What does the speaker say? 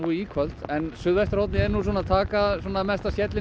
í kvöld en suðvesturhornið er að taka versta skellinn